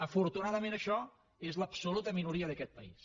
afortunadament això és l’absoluta minoria d’aquest país